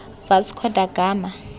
vasco da gama